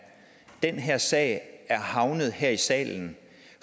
den her sag er havnet her i salen